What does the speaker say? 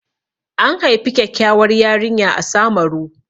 An haifi kyakkyawar yarinya a Samaru.